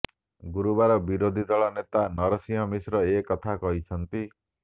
ଗୁରୁବାର ବିରୋଧୀ ଦଳ ନେତା ନରସିଂହ ମିଶ୍ର ଏ କଥା କହିଛନ୍ତି